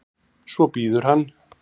Svo bíður hann.